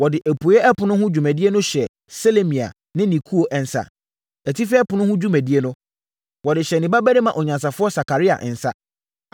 Wɔde apueeɛ ɛpono ho dwumadie no hyɛɛ Selemia ne ne ekuo nsa. Atifi ɛpono ho dwumadie nso, wɔde hyɛɛ ne babarima onyansafoɔ Sakaria nsa.